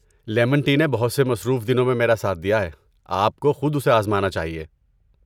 Lemon tea نے بہت سے مصروف دنوں میں میرا ساتھ دیا ہے، آپ کو خود اسے آزمانا چاہیے۔